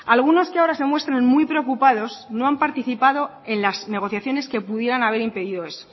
algunos que ahora se muestran muy preocupados no han participado en las negociaciones que pudieran haber impedido eso